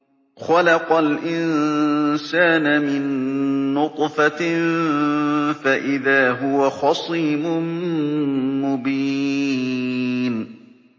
خَلَقَ الْإِنسَانَ مِن نُّطْفَةٍ فَإِذَا هُوَ خَصِيمٌ مُّبِينٌ